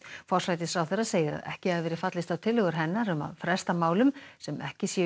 forsætisráðherra segir að ekki hafi verið fallist á tillögur hennar um að fresta málum sem ekki sé